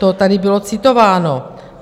To tady bylo citováno.